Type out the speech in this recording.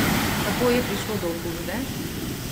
Kako je prišlo do okužbe?